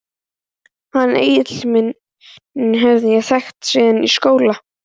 Hann Egil minn hef ég þekkt síðan í skóla.